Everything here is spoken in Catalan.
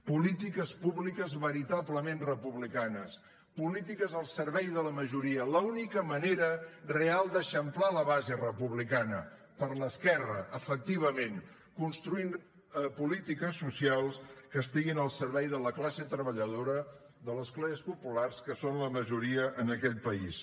polítiques públiques veritablement republicanes polítiques al servei de la majoria l’única manera real d’eixamplar la base republicana per l’esquerra efectivament construint polítiques socials que estiguin al servei de la classe treballadora de les classes populars que són la majoria en aquest país